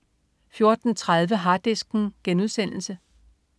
14.30 Harddisken*